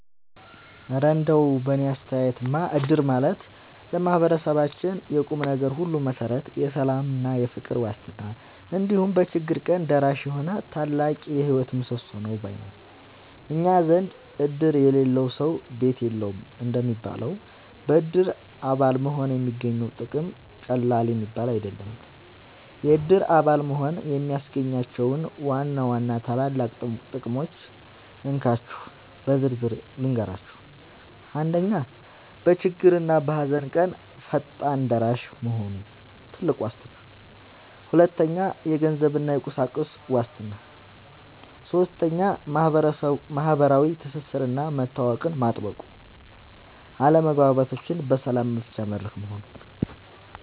እረ እንደው በእኔ አስተያየትማ እድር ማለት ለማህበረሰባችን የቁምነገር ሁሉ መሠረት፣ የሰላምና የፍቅር ዋስትና፣ እንዲሁም በችግር ቀን ደራሽ የሆነ ታላቅ የህይወት ምሰሶ ነው ባይ ነኝ! እኛ ዘንድ "እድር የሌለው ሰው ቤት የለውም" እንደሚባለው፣ በእድር አባል መሆን የሚገኘው ጥቅም ቀላል የሚባል አይደለም። የእድር አባል መሆን የሚያስገኛቸውን ዋና ዋና ታላላቅ ጥቅሞች እንካችሁ በዝርዝር ልንገራችሁ፦ 1. በችግርና በሃዘን ቀን ፈጣን ደራሽ መሆኑ (ትልቁ ዋስትና) 2. የገንዘብና የቁሳቁስ ዋስትና 3. ማህበራዊ ትስስርና መተዋወቅን ማጥበቁ 4. አለመግባባቶችን በሰላም መፍቻ መድረክ መሆኑ